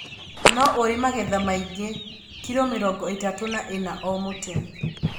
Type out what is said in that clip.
Nĩ ũrĩ magetha maingĩ ( kilo mĩrongo ĩtatu na ĩna o mũtĩ).